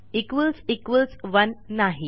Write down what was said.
1 नाही